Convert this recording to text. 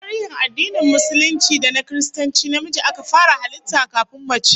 A tarihin addinin Musulunci da na Kiristanci, namiji aka fara halitta kafin mace